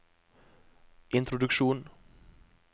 introduksjon